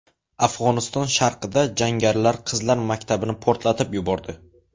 Afg‘oniston sharqida jangarilar qizlar maktabini portlatib yubordi.